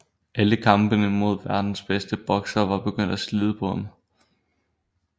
Alle kampene mod verdens bedste boksere var begyndt at slide på ham